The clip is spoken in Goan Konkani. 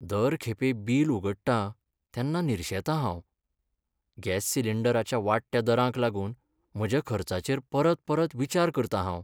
दर खेपे बील उगडटां तेन्ना निरशेतां हांव. गॅस सिलिंडराच्या वाडट्या दरांक लागून म्हज्या खर्चाचेर परत परत विचार करतां हांव.